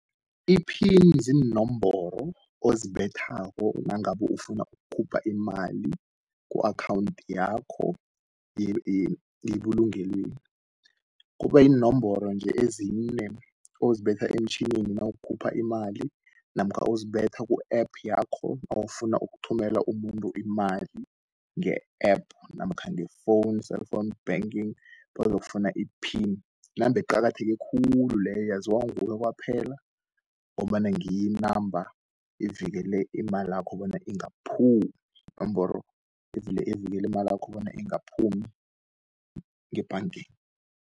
Iphini ziinomboro ozibethako nangabu ufuna ukukhupha imali ku-akhawunthi yakho yebulungelweni. Kuba yinomboro nje, ezine ozibetha emtjhinini nawukhupha imali, namkha uzibetha ku-App yakho nawufuna ukuthumela umuntu imali nge-App, namkha ngefowunu, cellphone banking, bazofuna iphini. Yinamba eqakatheke khulu leyo, yaziwa nguwe kwaphela, ngombana ngiyinamba ivekele imalakho bona ingaphumi, inomboro evikeli imalakho bona ingaphumi ngebhangeni.